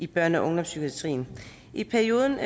børne og ungdomspsykiatrien i perioden